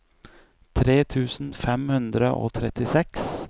tre tusen fem hundre og trettiseks